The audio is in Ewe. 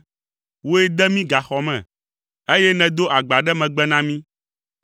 Wòe de mí gaxɔ me, eye nèdo agba ɖe megbe na mí.